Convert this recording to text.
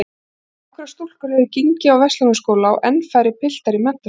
Nokkrar stúlkur höfðu gengið á Verslunarskóla og enn færri piltar í menntaskóla.